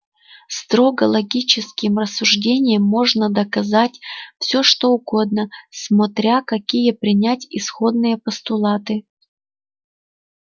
строго логическим рассуждением можно доказать все что угодно смотря какие принять исходные постулаты